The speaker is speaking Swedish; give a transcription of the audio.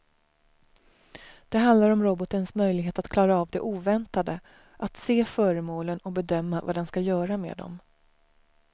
Det handlar om robotens möjlighet att klara av det oväntade, att se föremålen och bedöma vad den ska göra med dem.